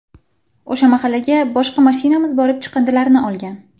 O‘sha mahallaga boshqa mashinamiz borib chiqindilarni olgan.